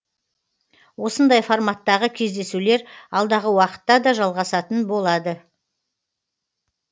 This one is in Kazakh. осындай форматтағы кездесулер алдағы уақытта да жалғасатын болады